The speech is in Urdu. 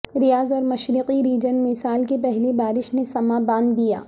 ریاض اور مشرقی ریجن میں سال کی پہلی بارش نے سماں باندھ دیا